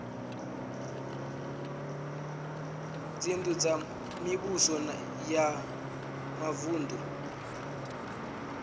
dzinnu dza mivhuso ya mavunu